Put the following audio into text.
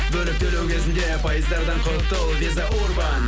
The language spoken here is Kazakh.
бөліп төлеу кезінде пайыздардан құтыл виза урбан